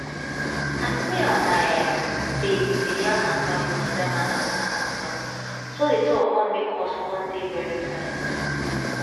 as me and my um babe bin dey yarn matter wey concern man and woman condom so di talk come make us come dey very tight